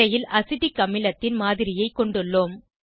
திரையில் அசிட்டிக் அமிலத்தின் மாதிரியைக் கொண்டுள்ளோம்